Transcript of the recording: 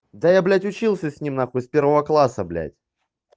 да я блять учился с ним на хуй с первого класса блять